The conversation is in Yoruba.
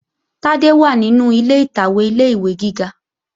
Tádé wà nínú ilé ìtàwé ilé-ìwé gíga